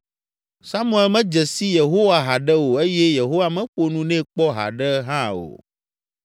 Samuel medze si Yehowa haɖe o eye Yehowa meƒo nu nɛ kpɔ haɖe hã o.